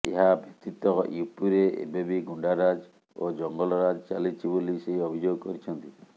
ଏହା ବ୍ୟତୀତ ୟୁପିରେ ଏବେବି ଗୁଣ୍ଡାରାଜ୍ ଓ ଜଙ୍ଗଲରାଜ ଚାଲିଛି ବୋଲି ସେ ଅଭିଯୋଗ କରିଛନ୍ତି